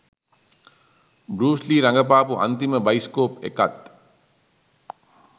බෲස් Lee රඟපාපු අන්තිම bioscope එකත්